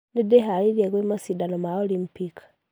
Nĩndĩhareirie gwĩ mashidano ma Olympic.